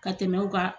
Ka tɛmɛ u ka